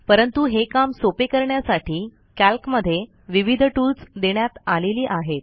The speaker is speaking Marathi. परंतु हे काम सोपे करण्यासाठी कॅल्कमध्ये विविध टूल्स देण्यात आलेली आहेत